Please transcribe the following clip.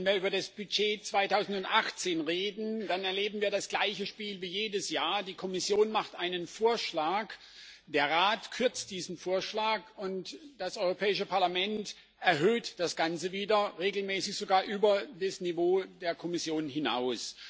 Wenn wir über das Budget 2018 reden, dann erleben wir das gleiche Spiel wie jedes Jahr Die Kommission macht einen Vorschlag, der Rat kürzt diesen Vorschlag, und das Europäische Parlament erhöht das Ganze wieder, regelmäßig sogar über das Niveau der Kommission hinaus.